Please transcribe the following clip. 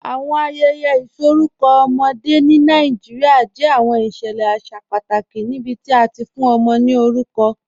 Awọn ayẹyẹ isọkọ ọmọde ni Nàìjíríà jẹ awọn iṣẹlẹ aṣa pátàkì níbití a ti fún ọmọ ni orúkọ.